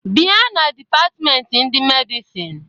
Bia na dipatment ndị Medicine!